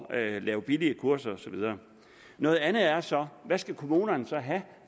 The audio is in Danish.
at lave billige kurser og så videre noget andet er så hvad skal kommunerne så have